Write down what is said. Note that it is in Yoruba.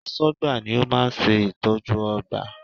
Aṣọ́gbà ni ó máa ń ṣe ìtọ́jú ọgbà